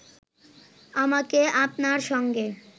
আমাকে আপনার সঙ্গে